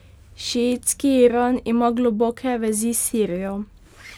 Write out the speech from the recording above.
Šiitski Iran ima globoke vezi s Sirijo.